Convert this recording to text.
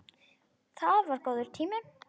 Það var góður tími.